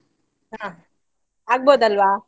ಹಾ ಆಗಬೋದಲ್ವಾ?